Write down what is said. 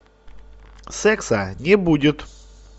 секса не будет